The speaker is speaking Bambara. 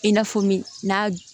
I n'a fɔ min n'a